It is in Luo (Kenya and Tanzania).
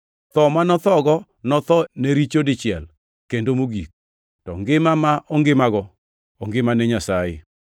Tho ma nothogo notho ne richo dichiel kendo mogik; to ngima ma ongimago, ongima ne Nyasaye.